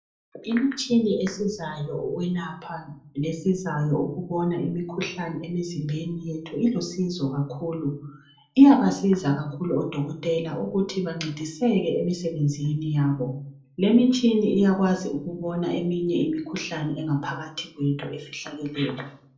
Imitshini esizayo ukwelapha lesizayo ukubona imikhuhlane emzimbeni yethu ilusizo kakhulu iyaba siza kakhulu odokotela ukuthi bancediseke emisebenzini yabo lemitshini iyakwazi ukuthi ibone imkhuhlane engaphakathi kwethu efihlakeleyo.